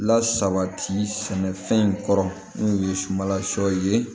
Lasabati sɛnɛfɛn in kɔrɔ n'o ye sunbala sɔ ye